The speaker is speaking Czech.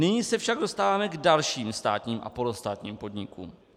Nyní se však dostáváme k dalším státním a polostátním podnikům.